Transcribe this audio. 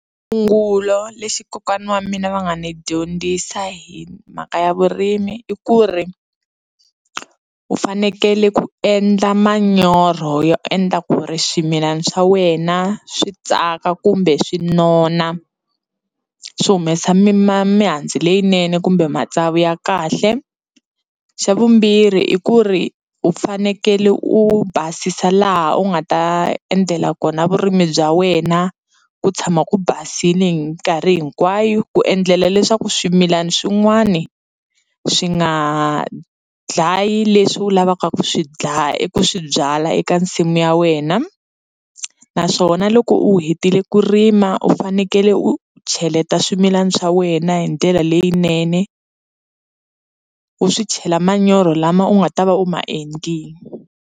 lexi kokwana wa mina va nga ni dyondzisa hi mhaka ya vurimi i ku ri u fanekele ku endla manyoro yo endla ku ri swimilana swa wena swi tsaka kumbe swi nona swi humesa mi ma mihandzu leyinene kumbe matsavu ya kahle, xa vumbirhi i ku ri u fanekele u basisa laha u nga ta endlela kona vurimi bya wena ku tshama ku basile hi minkarhi hinkwayo ku endlela leswaku swimilana swin'wani swi nga dlayi leswi u lavaka ku swi ku swi byala eka nsimu ya wena naswona loko u hetile ku rima u fanekele u cheleta swimilana swa wena hi ndlela leyinene u swi chela manyoro lama u nga ta va u ma endlile.